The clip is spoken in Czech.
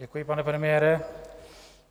Děkuji, pane premiére.